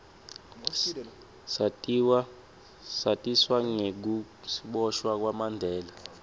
satiswa nengukiboshwa kwamandela